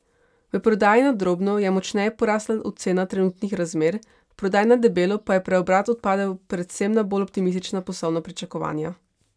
V prodaji na drobno je močneje porasla ocena trenutnih razmer, v prodaji na debelo pa je preobrat odpadel predvsem na bolj optimistična poslovna pričakovanja.